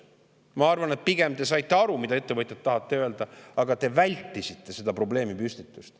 Ma arvan, et pigem te saite aru, mida ettevõtjad tahavad öelda, aga te vältisite seda probleemipüstitust.